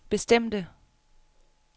bestemte